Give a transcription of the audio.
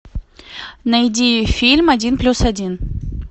найди фильм один плюс один